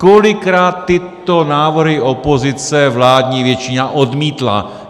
Kolikrát tyto návrhy opozice vládní většina odmítla?